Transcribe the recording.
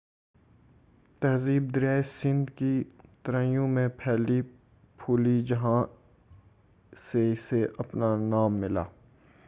تہذیب دریائے سندھ کی ترائیوں میں پھلی پھولی جہاں سے اسے اپنا نام ملا